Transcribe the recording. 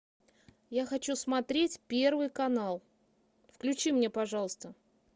я хочу смотреть первый канал включи мне пожалуйста